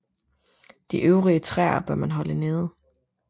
De øvrige træer bør man holde nede